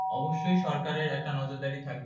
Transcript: অবশ্যই সরকারের একটা নজরদারি থাকবে